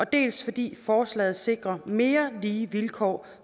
dels fordi forslaget sikrer mere lige vilkår